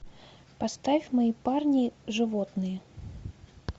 поставь мои парни животные